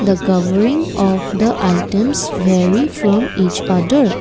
the covering of the items vary from each other.